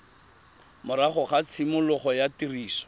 morago ga tshimologo ya tiriso